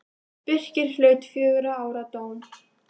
Birkir hlaut fjögurra ára dóm.